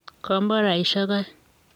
komboraisiek aeng.